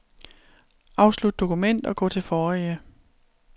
Afslut dokument og gå til forrige.